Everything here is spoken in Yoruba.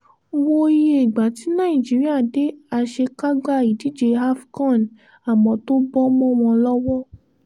wo iye ìgbà tí nàìjíríà dé àṣekágbá ìdíje afcon àmọ́ tó bọ́ mọ́ wọn lọ́wọ́